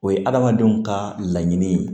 O ye adamadenw ka laɲini ye